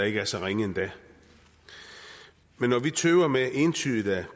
ikke er så ringe endda men når vi tøver med entydigt at